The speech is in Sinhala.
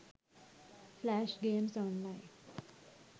flash games online